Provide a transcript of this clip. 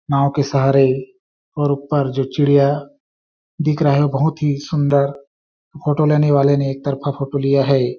नाँव के सहारे और ऊपर जो चिड़िया दिख रहा है बहोत ही सुन्दर फोटो लेने वाले ने एक तरफा फोटो लिया हैं ।